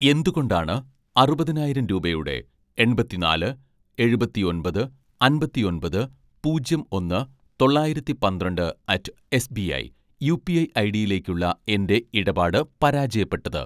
എന്തുകൊണ്ടാണ് അറുപതിനായിരം രൂപയുടെ എണ്‍പത്തിനാല് എഴുപത്തിഒന്‍പത് അമ്പത്തിഒന്‍പത് പൂജ്യം ഒന്ന് തൊള്ളായിരത്തി പന്ത്രണ്ട് അറ്റ്‌ എസ്ബിഐ, യുപിഐ ഐഡിയിലേക്കുള്ള എൻ്റെ ഇടപാട് പരാജയപ്പെട്ടത്